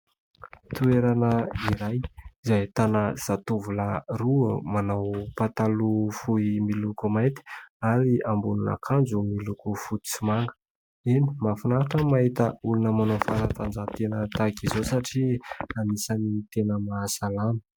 Toerana iray izay ahitana zatovolahy roa manao pataloha fohy miloko mainty ary ambonin'akanjo miloko fotsy sy manga. Eny, mahafinaritra mahita olona manao fanatanjahantena tahaka izao satria anisan'ny tena mahasalama.